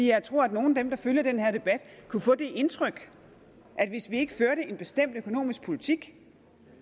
jeg tror at nogle af dem der følger den her debat kunne få det indtryk at hvis vi ikke førte en bestemt økonomisk politik